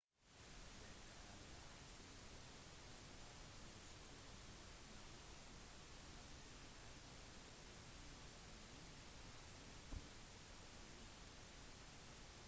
dette er like slitsomt som om du skulle våkne hvert tjuende eller trettiende minutt og se på tv